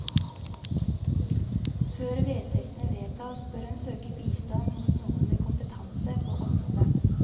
Før vedtektene vedtas, bør en søke bistand hos noen med kompetanse på området.